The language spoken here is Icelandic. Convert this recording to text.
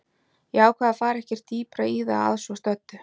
Ég ákvað að fara ekkert dýpra í það að svo stöddu.